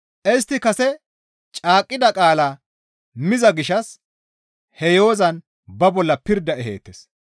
Istti kase caaqqida qaalaa miza gishshas he yo7ozan ba bolla pirda eheettes.